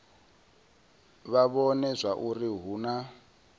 vha vhone zwauri hu na